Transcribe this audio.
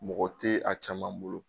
Mɔgɔ tɛ a caman bolo.